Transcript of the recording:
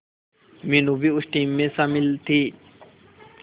मीनू भी उस टीम में शामिल थी